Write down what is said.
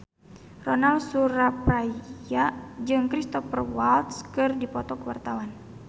Ronal Surapradja jeung Cristhoper Waltz keur dipoto ku wartawan